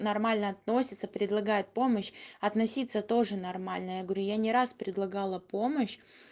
нормально относится предлагает помощь относиться тоже нормально я говорю я не раз предлагала помощь